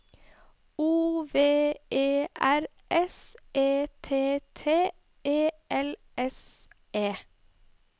O V E R S E T T E L S E